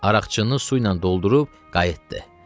Araqçınını su ilə doldurub qayıtdı.